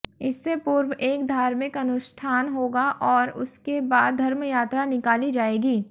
इससे पूर्व एक धार्मिक अनुष्ठान होगा और उसके बाद धर्मयात्रा निकाली जाएगी